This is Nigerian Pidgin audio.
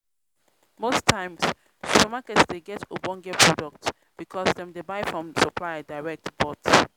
most times supermarket dey get ogbonge product because dem dey buy from supplier direct but